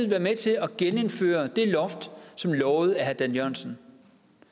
være med til at genindføre det loft som lovet af herre dan jørgensen